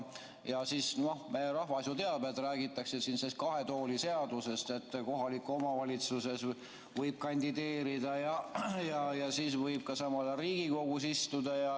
Meie rahvas ju teab, et räägitakse kahe tooli seadusest, st kohalikku omavalitsusse võib kandideerida ja siis võib samal ajal Riigikogus istuda.